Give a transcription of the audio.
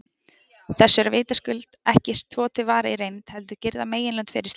Þessu er vitaskuld ekki svo varið í reynd, heldur girða meginlönd fyrir slíkt.